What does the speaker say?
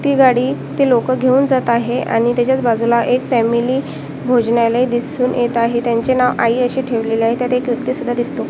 ती गाडी ते लोकं घेऊन जात आहे आणि त्याच्याच बाजूला एक फॅमिली भोजनालय दिसून येत आहे त्यांचे नाव आई असे ठेवण्यात आलेले आहे त्यात एक व्यक्ती सुद्धा दिसतो.